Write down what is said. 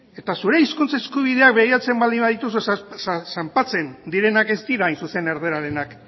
eta zure hizkuntza eskubideak begiratzen baldin badituzu zanpatzen direnak ez dira hain zuzen erdararenak